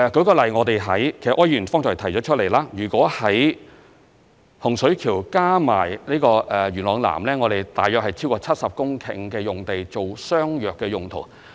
舉例而言——柯議員其實亦有所提及——在洪水橋加上元朗南，我們有超過70公頃土地作相若用途。